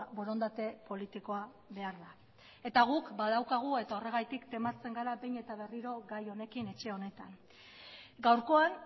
borondate politikoa behar da eta guk badaukagu eta horregatik tematzen gara behin eta berriro gai honekin etxe honetan gaurkoan